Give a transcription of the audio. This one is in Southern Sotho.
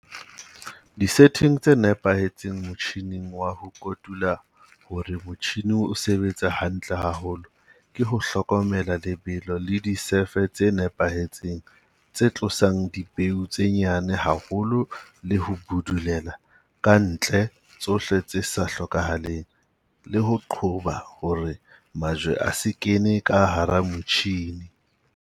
Di-setting tse nepahetseng motjhineng wa ho kotula hore motjhine o sebetse hantle haholo ke ho hlokomela lebelo le disefe tse nepahetseng tse tlosang dipeo tse nyane haholo le ho budulela ka ntle tsohle tse sa hlokahaleng, le ho qoba hore majwe a se kene ka hara motjhine.